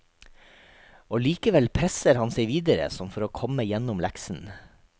Og likevel presser han seg videre som for å komme gjennom leksen.